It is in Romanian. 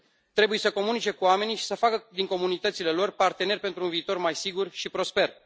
Trebuie să comunice cu oamenii și să facă din comunitățile lor parteneri pentru un viitor mai sigur și prosper.